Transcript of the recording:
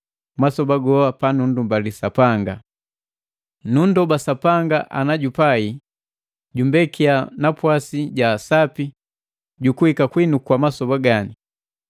masoba goa panunndoba Sapanga. Nundoba Sapanga ana jupai, jumbekia napwasi ja sapi jukuika kwinu kwa masoba gani.